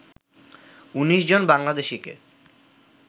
১৯ জন বাংলাদেশিকে